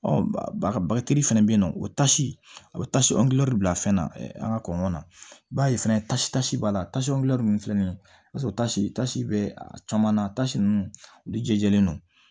Ɔ bagaji fɛnɛ be yen nɔ o tasi a bɛ tasi bila fɛn na an ka kɔɲɔ na i b'a ye fɛnɛ tasitasi b'a la tasi min filɛ nin ye i b'a sɔrɔ tasi tasi be a caman na tasi nunnu olu jɛlen no